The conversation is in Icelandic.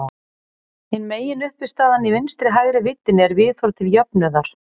Hin meginuppistaðan í vinstri-hægri víddinni er viðhorf til jöfnuðar.